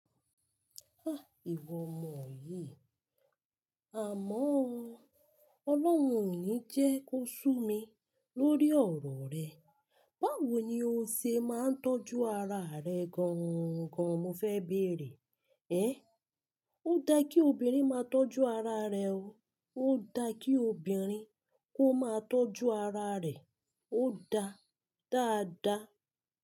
Ah! Ìwọ ọmọ yìí. Amọ́ o, Ọlọ́un ò ní jẹ kó sú mi lórí ọ̀rọ̀ rẹ. Báwo ni o ṣe máa ń tọ́jú ara rẹ gangan mo fẹ́ béèrè? Ẹn, ó da kí obìnrin máa tọ́jú ara rẹ o, ó da kí obìnrin kó máa tọ́jú ara rẹ̀, ó da dáadáa.